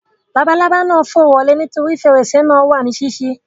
Labalábá náà fò wọlé nítorí fèrèsé náà wà ní sísí